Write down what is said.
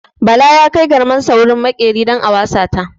Bala ya kai garmarsa wajen maƙeri don a wasa ta.